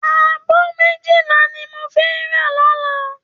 Àbó méjilá ni mó fè rá lòlá